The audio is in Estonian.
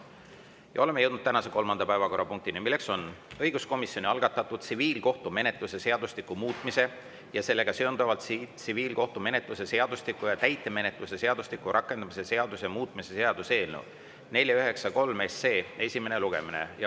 Ja oleme jõudnud tänase kolmanda päevakorrapunktini, mis on õiguskomisjoni algatatud tsiviilkohtumenetluse seadustiku muutmise ja sellega seonduvalt tsiviilkohtumenetluse seadustiku ja täitemenetluse seadustiku rakendamise seaduse muutmise seaduse eelnõu 493 esimene lugemine.